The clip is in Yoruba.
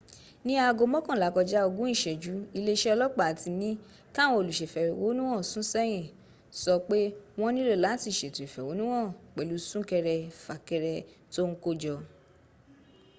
ní aago mọ́kànlá kọjá ogún ìsẹ́jù iléeṣẹ́ ọlọ́ọ̀pá tí ní káwọn olùsèfẹ̀hónúhàn sún sẹ́yìn sọ pé wọ́n nílò láti sètò ìfẹ̀hónúhàn pẹ̀lú súnkẹrẹ fàkẹrẹ tó ń kó jọ